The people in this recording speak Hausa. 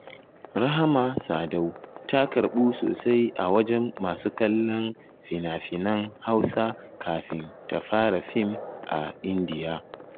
Rahama Sadau ta karɓu sosai a wajen masu kallon finafinan Hausa kafin ta fara fim a indiya.